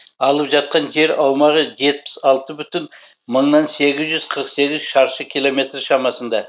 алып жатқан жер аумағы жетпіс алты бүтін мыңнан сегіз жүз қырық сегіз шаршы километр шамасында